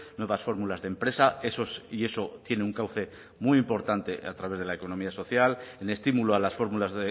nuevas fórmulas de empresa y eso tiene un cauce muy importante a través de la economía social el estímulo a las fórmulas